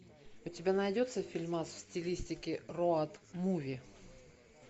у тебя найдется фильмас в стилистике роад муви